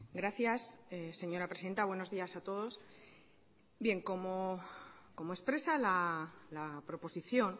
gracias señora presidenta buenos días a todos como expresa la proposición